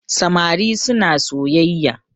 samari suna soyayya